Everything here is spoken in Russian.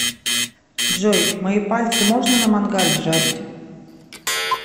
джой мои пальцы можно на мангале жарить